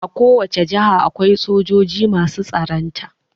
A ko wacce jaha akwai sojoji masu tsaronta